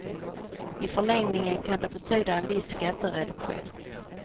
I förlängningen kan det betyda en viss skattereduktion.